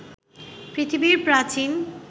পৃথিবীর প্রাচীন